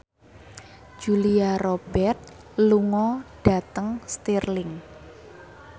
Julia Robert lunga dhateng Stirling